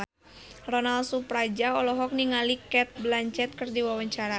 Ronal Surapradja olohok ningali Cate Blanchett keur diwawancara